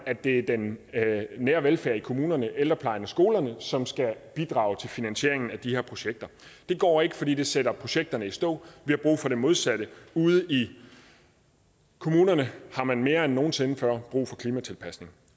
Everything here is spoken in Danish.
at det er den nære velfærd i kommunerne ældreplejen og skolerne som skal bidrage til finansieringen af de her projekter det går ikke fordi det sætter projekterne i stå vi har brug for det modsatte ude i kommunerne har man mere end nogen sinde før brug for klimatilpasning